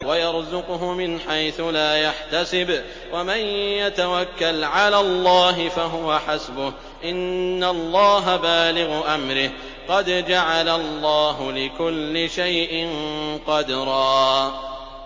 وَيَرْزُقْهُ مِنْ حَيْثُ لَا يَحْتَسِبُ ۚ وَمَن يَتَوَكَّلْ عَلَى اللَّهِ فَهُوَ حَسْبُهُ ۚ إِنَّ اللَّهَ بَالِغُ أَمْرِهِ ۚ قَدْ جَعَلَ اللَّهُ لِكُلِّ شَيْءٍ قَدْرًا